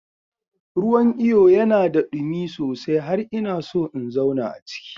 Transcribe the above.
Ruwan iyo yana da ɗumi sosai har ina so in zauna a ciki.